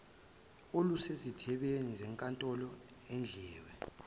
olusezithebeni zenkantolo idliwe